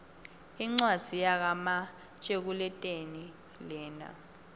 incwadzi yaka matekuletjelii lena